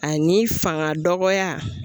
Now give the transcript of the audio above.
A ni fanga dɔgɔya.